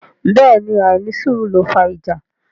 Bẹ́ẹ̀ ni àìnísùúrù ló fà ìjà.